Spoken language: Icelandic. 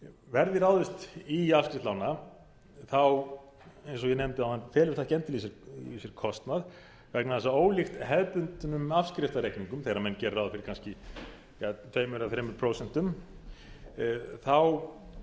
verði ráðist í afskrift lána þá eins og ég nefndi áðan felur það skemmtilega í sér kostnað vegna þess að ólíkt hefðbundnum afskriftarreikningum þegar menn gera ráð fyrir kannski tvö eða þrjú prósent þá